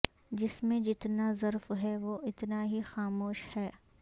جس میں جتنا ظرف ہے وہ اتنا ہی خاموش ہے